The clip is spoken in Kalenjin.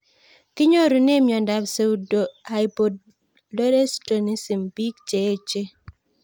Kinyorune miondop pseudohypoaldosteronism pik che echen